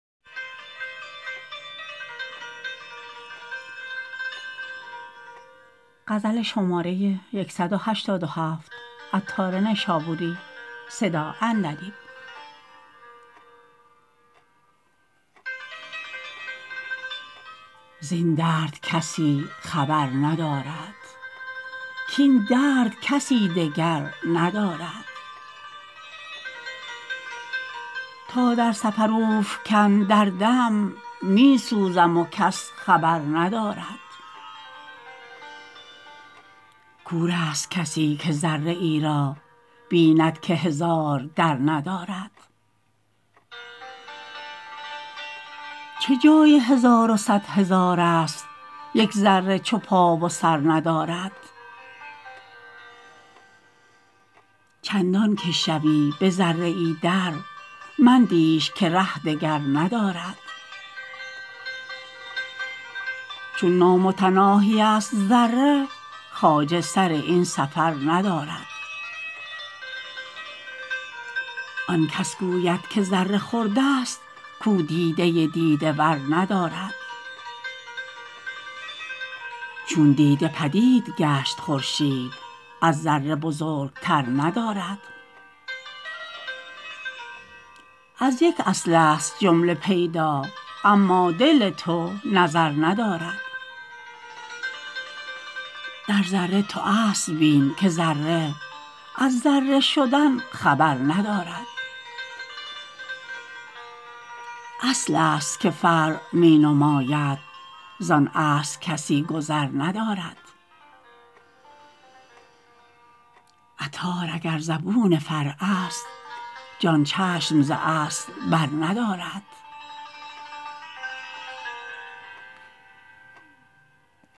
زین درد کسی خبر ندارد کین درد کسی دگر ندارد تا در سفر اوفکند دردم می سوزم و کس خبر ندارد کور است کسی که ذره ای را بیند که هزار در ندارد چه جای هزار و صد هزار است یک ذره چو پا و سر ندارد چندان که شوی به ذره ای در مندیش که ره دگر ندارد چون نامتناهی است ذره خواجه سر این سفر ندارد آن کس گوید که ذره خرد است کو دیده دیده ور ندارد چون دیده پدید گشت خورشید از ذره بزرگتر ندارد از یک اصل است جمله پیدا اما دل تو نظر ندارد در ذره تو اصل بین که ذره از ذره شدن خبر ندارد اصل است که فرع می نماید زان اصل کسی گذر ندارد عطار اگر زبون فرع است جان چشم زاصل بر ندارد